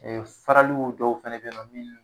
faraliw dɔw fɛnɛ bɛ yen nɔ minnu